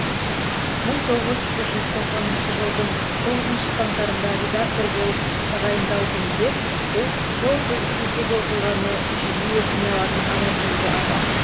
мың тоғыз жүз тоқсаныншы жылдың тоғызыншы қаңтарында редактор болып тағайындалдым деп сол кездегі оқиғаны жиі есіне алатын аманкелді аға